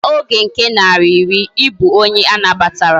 Maka Oge nke nari iri, ibu onye anabatara